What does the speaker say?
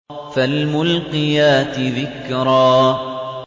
فَالْمُلْقِيَاتِ ذِكْرًا